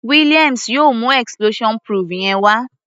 Williams yóò mú explosion proof yẹn wá.